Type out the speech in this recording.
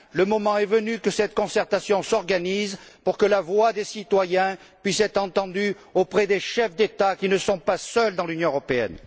Le moment est venu que cette concertation s'organise pour que la voix des citoyens puisse être entendue auprès des chefs d'État qui ne sont pas seuls dans l'Union européenne.